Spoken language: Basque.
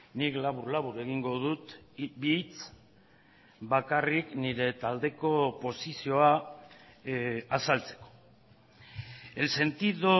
nik labur labur egingo dut bi hitz bakarrik nire taldeko posizioa azaltzeko el sentido